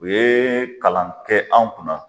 U ye kalan kɛ anw kunna